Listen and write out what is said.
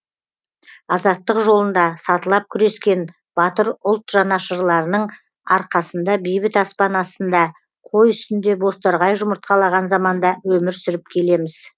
азаттық жолында сатылап күрескен батыр ұлт жанашырларының арқасында бейбіт аспан астында қой үстінде бозторғай жұмыртқалаған заманда өмір сүріп келеміз